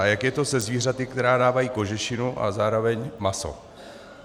A jak je to se zvířaty, která dávají kožešinu a zároveň maso?